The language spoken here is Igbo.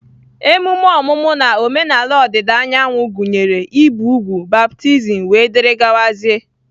Emume omumu ln omenala odida anyanwu gunyere ibi úgwù, baptism wdg.